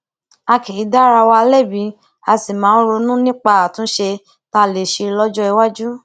a kì í dá ara wa lébi a sì máa ń ronú nípa àtúnṣe tá a lè ṣe lójó iwájú